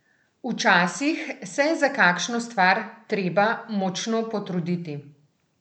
Včasih se je za kakšno stvar treba močno potruditi.